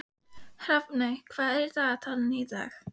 Hrafney, hvað er í dagatalinu í dag?